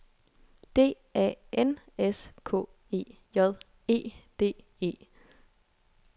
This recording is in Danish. D A N S K E J E D E